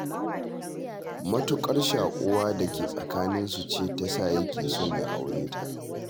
Matuƙar shaƙuwar da ke tsakaninsu ce ta sa yake son ya aure ta